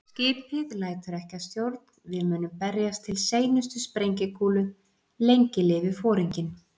Skipið lætur ekki að stjórn, við munum berjast til seinustu sprengikúlu- lengi lifi Foringinn